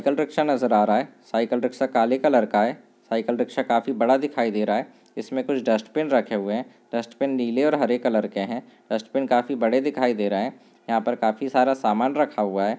Cycle rickshaw नजर आ रहा है साइकिल रिक्शा काले कलर का है साइकिलरिक्शा काफी बड़ा दिखाई दे रहा है इसमें कुछ डस्टबिन रखे हुए हैं डस्टबिन नीले और हरे कलर के हैं डस्टबिन काफी बड़े दिखाई दे रहे हैं यहां पर काफी सारा सामान रखा हुआ है।